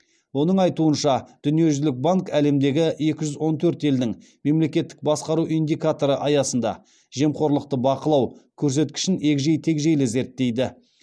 оның айтуынша дүниежүзілік банк әлемдегі екі жүз он төрт елдің мемлекеттік басқару индикаторы аясында жемқорлықты бақылау көрсеткішін егжей тегжейлі зерттейді